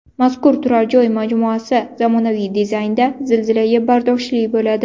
Mazkur turar joy majmuasi zamonaviy dizaynda, zilzilaga bardoshli bo‘ladi.